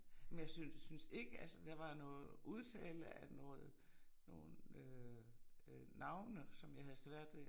Men jeg synes synes ikke altså der var noget udtale at noget nogen øh øh navne som jeg havde svært ved